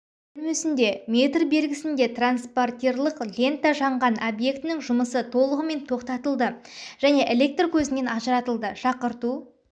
бөлмесінде метр белгісінде транспортерлық лента жанған объектінің жұмысы толығымен тоқтатылды және электр көзінен ажыратылды шақырту